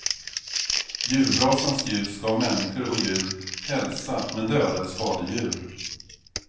Julbrasans ljus gav människor och djur hälsa men dödade skadedjur.